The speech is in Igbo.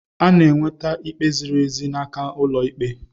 Ị ga-enweta ikpe ziri ezi n'aka ụlọ ikpe.